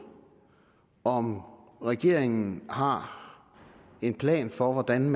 om regeringen har en plan for hvordan